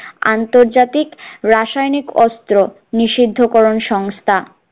আন্তর্জাতিক রাসায়নিক অস্ত্র নিষিদ্ধকরণ সংস্থা